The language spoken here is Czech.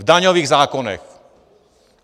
V daňových zákonech!